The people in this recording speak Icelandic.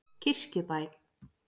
Kirkjubæ